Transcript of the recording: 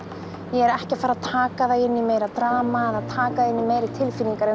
ég er ekki að taka það inn í meira drama eða taka í meiri tilfinningar